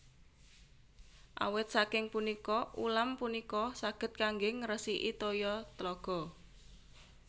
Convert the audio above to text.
Awit saking punika ulam punika saged kanggé ngresiki toya tlaga